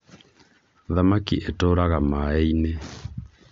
thamaki ĩtũraga maĩ-inĩ